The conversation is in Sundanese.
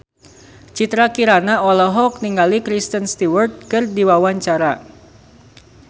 Citra Kirana olohok ningali Kristen Stewart keur diwawancara